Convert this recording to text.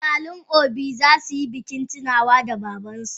Iyalin obi zasuyi bikin tunawa da babansu.